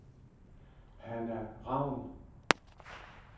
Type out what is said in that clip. Hanna Ravn